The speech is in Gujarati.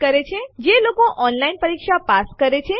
વધુમાં દરેક આદેશ જે આપણે જોયા તેના અન્ય ઘણા વિકલ્પો છે